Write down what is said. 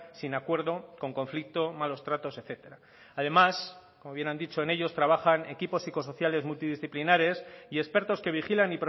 sin acuerdo con conflicto malos tratos etcétera además como bien han dicho en ellos trabajan equipos psicosociales multidisciplinares y expertos que vigilan